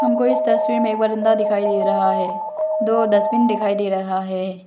हमको इस तस्वीर में एक बरंदा दिखाई दे रहा है दो डस्टबिन दिखाई दे रहा है।